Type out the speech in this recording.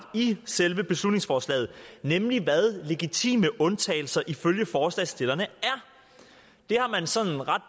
i selve beslutningsforslaget nemlig hvad legitime undtagelser er ifølge forslagsstillerne det har man sådan ret